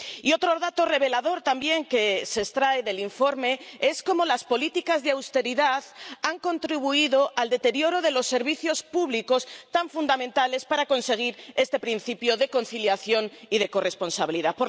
Y otro dato revelador también que se extrae del informe, es cómo las políticas de austeridad han contribuido al deterioro de los servicios públicos, tan fundamentales para conseguir este principio de conciliación y de corresponsabilidad.